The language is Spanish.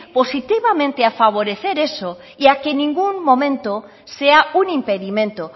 positivamente a favorecer eso y a que ningún momento sea un impedimento